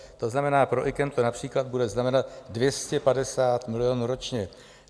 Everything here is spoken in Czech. To znamená, pro IKEM to například bude znamenat 250 milionů ročně.